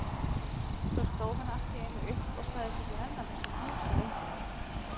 Svo stóð hann allt í einu upp og sagðist ekki nenna þessu hangsi lengur.